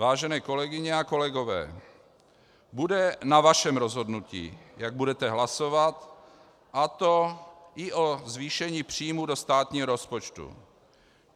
Vážené kolegyně a kolegové, bude na vašem rozhodnutí, jak budete hlasovat, a to i o zvýšení příjmů do státního rozpočtu.